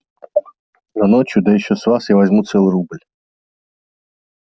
но ночью да ещё с вас я возьму целый рубль